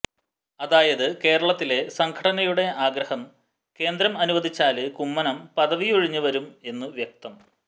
അതായത് കേരളത്തിലെ സംഘടനയുടെ ആഗ്രഹം കേന്ദ്രം അനുവദിച്ചാല് കുമ്മനം പദവിയൊഴിഞ്ഞ് വരും എന്ന് വ്യക്തം